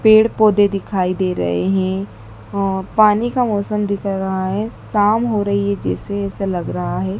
पेड़-पौधे दिखाई दे रहे है और पानी का मौसम दिख रहा है शाम हो रही है जैसे-जैसे लग रहा है।